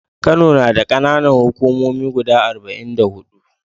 Kano nada kAna Nan hukumomi guda arba'in da hudu